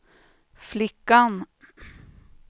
flickan